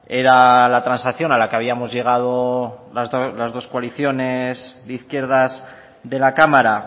era la transacción a la que habíamos llegado las dos coaliciones de izquierdas de la cámara